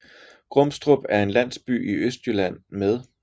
Grumstrup er en landsby i Østjylland med